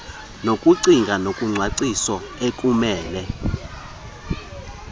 lokucinga nokucwangcisa ekumele